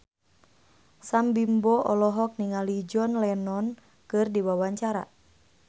Sam Bimbo olohok ningali John Lennon keur diwawancara